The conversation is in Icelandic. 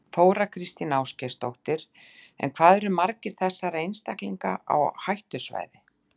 Þóra Kristín Ásgeirsdóttir: En hvað eru margir þessara einstaklinga á hættusvæði?